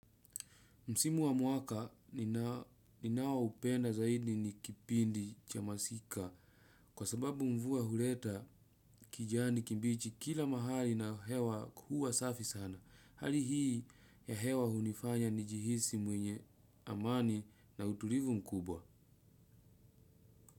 Msimu wa mwaka ninao upenda zaidi ni kipindi cha masika kwa sababu mvua huleta kijani kibichi kila mahali na hewa kuwa safi sana. Hali hii ya hewa hunifanya nijihisi mwenye amani na utulivu mkubwa.